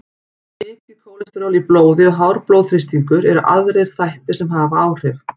mikið kólesteról í blóði og hár blóðþrýstingur eru aðrir þættir sem hafa áhrif